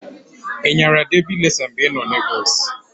I nyara debi resa mgbe i nọ Lagọs?